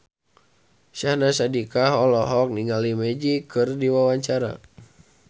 Syahnaz Sadiqah olohok ningali Magic keur diwawancara